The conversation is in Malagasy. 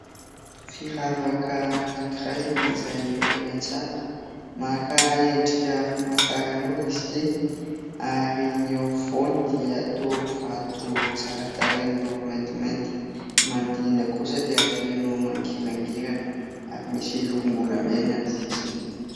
Firavaka anakiray izay tena tsara, maka endrika famataran'ora izy ity ary ny eo afovoany dia toa vato tsara tareha miloko maintimainty, ny manodinina kosa dia feno mangirangirana ary misy lokom-bolamena ny sisiny.